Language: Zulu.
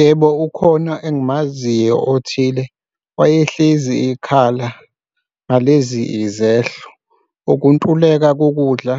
Yebo, ukhona engimaziyo othile wayehlezi ekhala ngalezi izehlo ukuntuleka kokudla